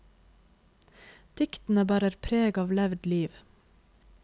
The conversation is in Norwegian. Diktene bærer preg av levd liv.